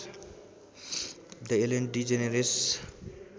the Ellen DeGeneres